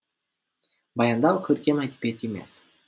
баяндау көркем әдебиет емес